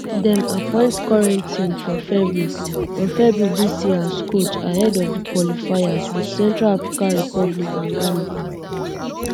dem appoint um corentin for february for february dis year as coach ahead of di qualifiers wit central africa republic and ghana